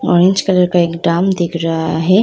Orange colour का एक drum दिख रहा है।